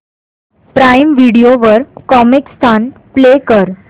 prime Video वर Comicstaan play कर